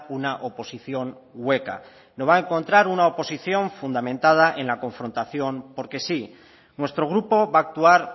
una oposición hueca no va a encontrar una oposición fundamentada en la confrontación porque sí nuestro grupo va a actuar